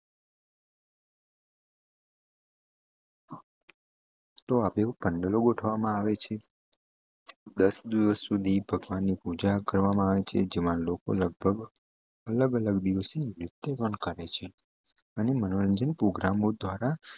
તો આપવું પડેલું ગોઠવામાં આવે છે દસ દિવસ સુધી ભગવાનની પૂજા કરવામાં આવી છે જેમાં લોકો લગભગ અલગ અલગ દિવસે પણ કરે છે અને મનોરંજન પ્રોગ્રામ દ્વારા